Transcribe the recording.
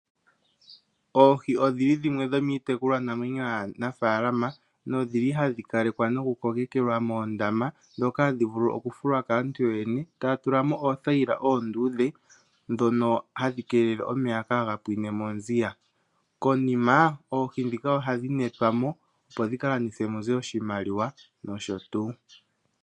Oohi odhili dhimwe dhomitekulwa namwenyo ya nafalama nodhili hadhi kalekwa noku kokekelwa moondama ndhoka hadhi vulu oku fulwa kaantu yoyene etaya tulamo oothayila oondudhe dhono hadhi keelele omeya kaga pwinemo nziya. Konima oohi ndhika ohadhi netwa mo opo dhi landithwe muze oshimaliwa nosho tuu.